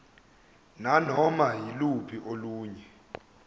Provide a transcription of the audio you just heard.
nanoma yiluphi olunye